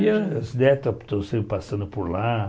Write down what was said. E os netos estão sempre passando por lá.